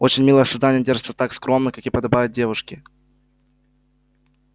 очень милое создание держится так скромно как и подобает девушке